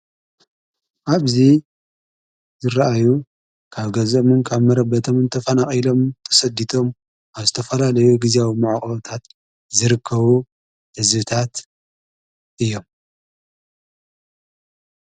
ዓብዙይ ዝረአዩ ካብ ገዘምን ካብ መረበቶም እንተፋናቒኢሎም ተሰዲቶም ኣብስተፋላ ለይ ጊዜ ዊመዐቕታት ዝርከዉ ኣዝብታት እዮም።